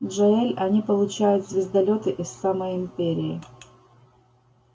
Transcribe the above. джаэль они получают звездолёты из самой империи